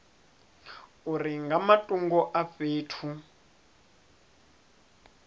uri nga matungo a fhethu